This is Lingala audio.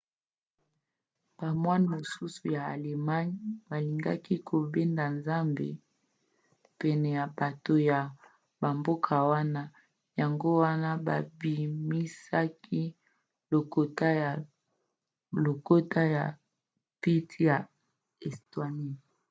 bamoine mosusu ya allemagne balingaki kobenda nzambe pene ya bato ya bamboka wana yango wana babimisaki lokota ya pete ya estonie